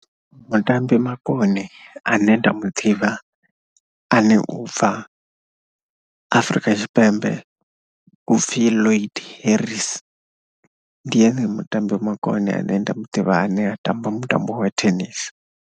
Mutambi makone ane nda mu ḓivha ane u bva Afrika Tshipembe u pfhi Lloyd Harris, ndi ene mutambi makone ane nda mu ḓivha ane a tamba mutambo wa tennis.